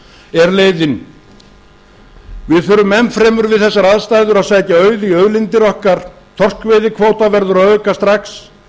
er leiðin við þurfum enn fremur við þessar aðstæður að sækja auð í auðlindir okkar þorskveiðikvóta verður að auka strax